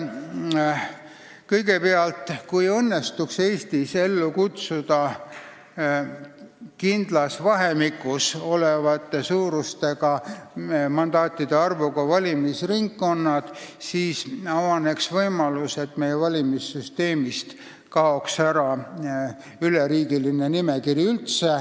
Kõigepealt, kui õnnestuks Eestis ellu kutsuda kindlas vahemikus oleva mandaatide arvuga valimisringkonnad, siis avaneks võimalus, et meie valimissüsteemist kaoks üldse ära üleriigiline nimekiri.